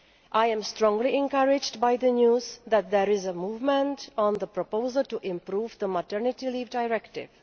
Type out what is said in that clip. I am strongly encouraged by the news that there is movement on the proposal to improve the Maternity Leave Directive.